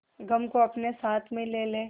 गम को अपने साथ में ले ले